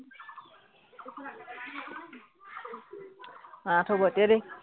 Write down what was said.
আঠ হব এতিয়া দেই